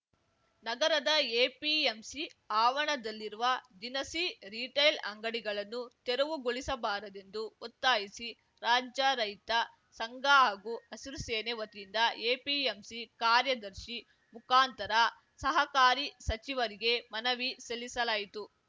ನಗರದ ಎಪಿಎಂಸಿ ಆವರಣದಲ್ಲಿರುವ ದಿನಸಿ ರೀಟೆಲ್‌ ಅಂಗಡಿಗಳನ್ನು ತೆರವುಗೊಳಿಸಬಾರದೆಂದು ಒತ್ತಾಯಿಸಿ ರಾಜ್ಯ ರೈತ ಸಂಘ ಹಾಗೂ ಹಸಿರು ಸೇನೆ ವತಿಯಿಂದ ಎಪಿಎಂಸಿ ಕಾರ್ಯದರ್ಶಿ ಮುಖಾಂತರ ಸಹಕಾರಿ ಸಚಿವರಿಗೆ ಮನವಿ ಸಲ್ಲಿಸಲಾಯಿತು